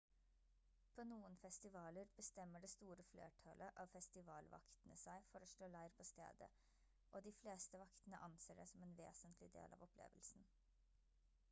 på noen festivaler bestemmer det store flertallet av festivalvaktene seg for å slå leir på stedet og de fleste vaktene anser det som en vesentlig del av opplevelsen